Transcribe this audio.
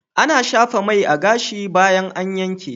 Ana shafa mai a gashi bayan an yanke.